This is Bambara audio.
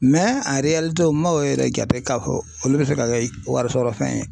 o man o yɛrɛ jate k'a fɔ olu bɛ se ka kɛ wari sɔrɔ fɛn ye.